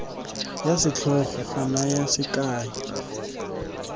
ya setlhogo go naya sekai